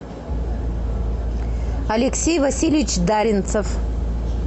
алексей васильевич даринцев